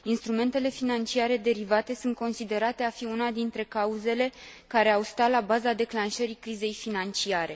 Instrumentele financiare derivate sunt considerate a fi una dintre cauzele care au stat la baza declanșării crizei financiare.